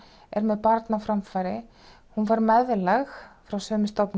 er með barn á framfæri hún fær meðlag frá sömu stofnun